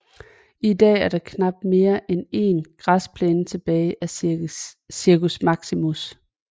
I dag er der knapt mere end en græsplæne tilbage af Circus Maximus